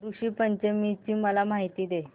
ऋषी पंचमी ची मला माहिती दे